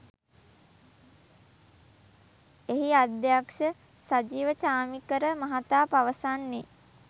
එහි අධ්‍යක්ෂ සජීව චාමීකර මහතා පවසන්නේ